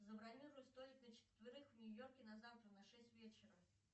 забронируй столик на четверых в нью йорке на завтра на шесть вечера